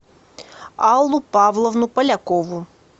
аллу павловну полякову